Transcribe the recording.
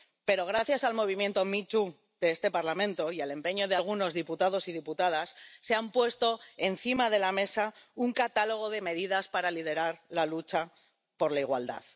Pero gracias al movimiento Me Too de este Parlamento y al empeño de algunos diputados y diputadas, se ha puesto encima de la mesa un catálogo de medidas para liderar la lucha por la igualdad.